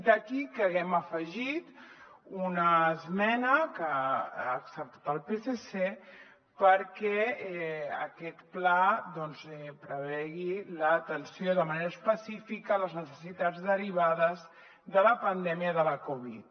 d’aquí que haguem afegit una esmena que ha acceptat el psc perquè aquest pla prevegi l’atenció de manera específica de les necessitats derivades de la pandèmia de la covid